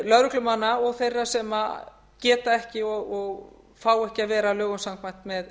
lögreglumanna og þeirra sem geta ekki og fá ekki að vera lögum samkvæmt með